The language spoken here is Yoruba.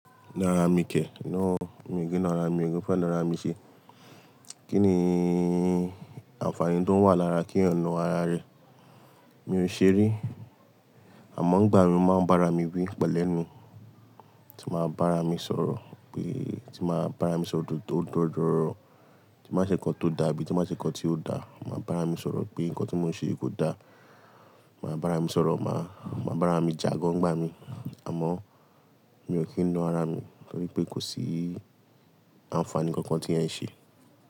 Nára mi kẹ̀, no o, mi kì í na ara mio, mi ò kí ń fẹ́ na ara mi ṣe. Kí ni àǹfààní tó wà lára kí ọ̀nà ara rẹ, mi ò ṣe rí. Àmọ́, Nigbà mi mo máa ń bára mi wí pẹ̀lẹ́ nu. Ti máa bára mi sọ̀rọ̀ pé, ti máa bára mi sọ òdodo tó odọ́dọ́rọ́, tí mbáa ṣe nǹkan tó dà, abí tí máa ṣe nǹkan tí ó dà, máa bára mi sọ̀rọ̀ pé nǹkan tí mò ń ṣe yi kò da. Ma bára mi sọ̀rọ̀, máa, máa bára mi jà gan ni igbà mi. Àmọ́ mi ò kí ń na ara mi torí pé kò sí àǹfààní kankan tí ẹ̀ ń ṣe.